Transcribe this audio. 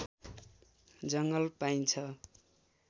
जङ्गल पाइन्छ